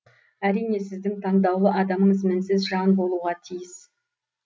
әрине сіздің таңдаулы адамыңыз мінсіз жан болуға тиіс